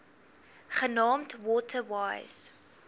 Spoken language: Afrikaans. genaamd water wise